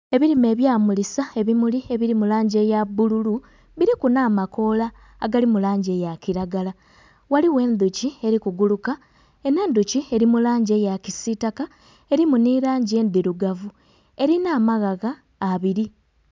Ebirime ebya mulisa ebimuli ebiri mu langi eya bbululu biriku nha makoola agali mu langi eya kiragala, ghaligho endhuki eri ku guluka enho endhuki eri mu langi eya kisitaka erimu nhi langi endhirugavu erinha amaghagha abiri.